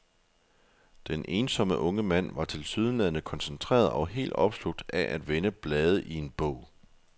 Den ensomme unge mand var tilsyneladende koncentreret og helt opslugt af at vende blade i en bog.